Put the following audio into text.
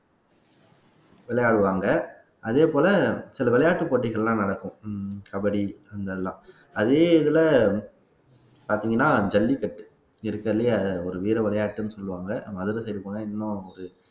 விளையாடுவாங்க அதே போல சில விளையாட்டுப் போட்டிகள் எல்லாம் நடக்கும் கபடி இதெல்லாம் அதே இதுல பாத்தீங்கன்னா ஜல்லிக்கட்டு இருக்கிறதுலயே அது ஒரு வீர விளையாட்டுன்னு சொல்லுவாங்க நம்ம அதுல சரி போனா இன்னும் ஒரு